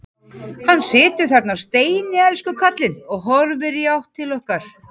Hann situr þarna á steini, elsku kallinn, og horfir í átt til okkar.